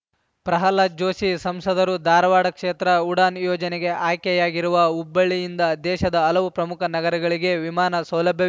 ಪ್ರಹ್ಲಾದ್‌ ಜೋಶಿ ಸಂಸದರು ಧಾರವಾಡ ಕ್ಷೇತ್ರ ಉಡಾನ್‌ ಯೋಜನೆಗೆ ಆಯ್ಕೆಯಾಗಿರುವ ಹುಬ್ಬಳ್ಳಿಯಿಂದ ದೇಶದ ಹಲವು ಪ್ರಮುಖ ನಗರಗಳಿಗೆ ವಿಮಾನ ಸೌಲಭ್ಯ